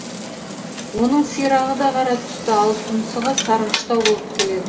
оның сирағы да қара түсті ал тұмсығы сарғыштау болып келеді